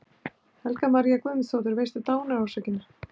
Helga María Guðmundsdóttir: Veistu dánarorsökina?